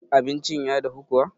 abincin. ya dahu kuwa?